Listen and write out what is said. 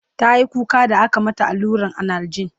tayi kuka da aka mata alluran analjin